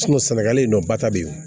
sɛnɛgali nɔ ba ta be yen